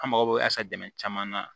An mago bɛ caman na